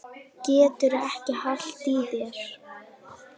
Geturðu ekki haldið í þér?